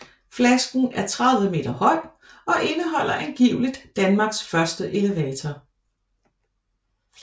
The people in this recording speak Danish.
Flasken er 30 meter høj og indeholder angiveligt Danmarks første elevator